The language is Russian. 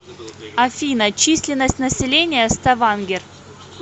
афина численность населения ставангер